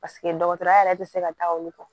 Paseke dɔgɔtɔrɔya yɛrɛ tɛ se ka taa olu kɔ